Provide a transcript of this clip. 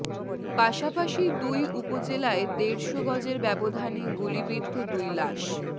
পাশাপাশি দুই উপজেলায় দেড়শ গজের ব্যবধানে গুলিবিদ্ধ দুই লাশ